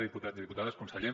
diputats i diputades conseller